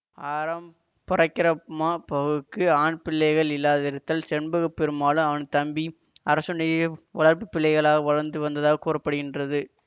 ஆறாம் பரக்கிரப்மாபவுக்கு ஆண் பிள்ளைகள் இல்லாதிருந்ததால் செண்பக பெருமாளும் அவன் தம்பி அரசனுய வளர்ப்பு பிள்ளைகளாக வளர்ந்து வந்ததாக கூற படுகின்றது